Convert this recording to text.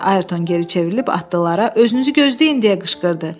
Ayrton geri çevrilib atlılara özünüzü gözləyin deyə qışqırdı.